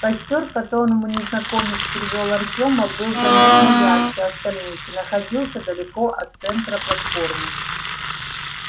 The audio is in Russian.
костёр к которому незнакомец привёл артёма был заметно ярче остальных и находился далеко от центра платформы